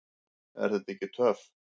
Er þetta ekki töff?